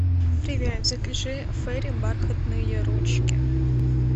привет закажи фейри бархатные ручки